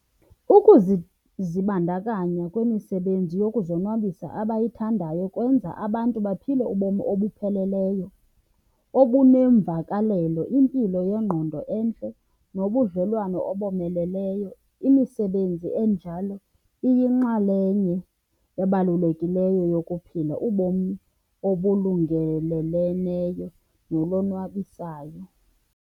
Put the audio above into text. Ukuzibandakanya kwimisebenzi yokuzonwabisa abayithandayo kwenza abantu baphile ubomi obupheleleyo, obuneemvakalelo, impilo yengqondo entle nobudlelwane abomeleleyo. Imisebenzi enjalo iyinxalenye ebalulekileyo yokuphila ubomi obulungeleleneyo nolonwabisayo.